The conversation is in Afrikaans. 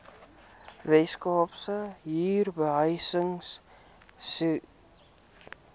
weskaapse huurbehuisingstribunaal indien